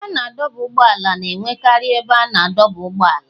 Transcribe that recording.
Ebe a na-adọba ụgbọala na-enwekarị ebe a na-adọba ụgbọala.